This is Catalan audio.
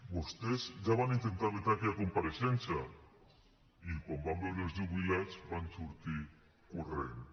vostès ja van intentar vetar aquella compareixença i quan van veure els jubilats van sortir corrents